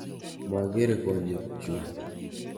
Magere konyekchu.